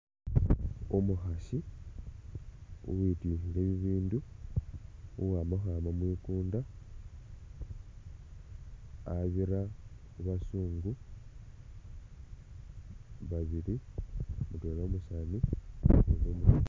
Umukhasi uwityukhile bibindu, uwama khwama mwikunda, khabira khu bazungu babili, mutwela umusaani, ukundi umukhasi.